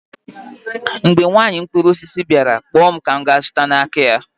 mgbe nwanyị mkpụrụ osisi bịara, kpọọ m ka m ga-azụta n'aka ya